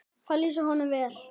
Það lýsir honum vel.